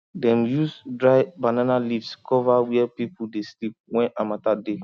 dem use dry banana leaves cover where people dey sleep when harmattan dey